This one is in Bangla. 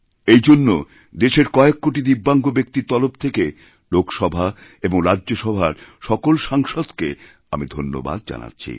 এই জন্য দেশের কয়েক কোটি দিব্যাঙ্গব্যক্তির তরফ থেকে লোকসভা এবং রাজ্যসভার সকল সাংসদকে আমি ধন্যবাদ জানাচ্ছি